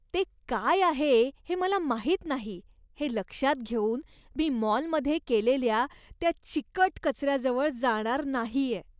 ते काय आहे हे मला माहीत नाही हे लक्षात घेऊन मी मॉलमध्ये केलेल्या त्या चिकट कचऱ्याजवळ जाणार नाहीये.